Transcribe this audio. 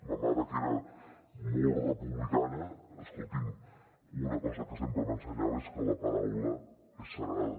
ma mare que era molt republicana escolti’m una cosa que sempre m’ensenyava és que la paraula és sagrada